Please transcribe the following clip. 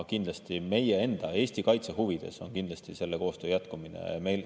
Kindlasti on meie enda, Eesti kaitse huvides selle koostöö jätkumine.